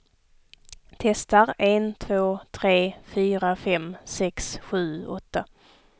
Testar en två tre fyra fem sex sju åtta.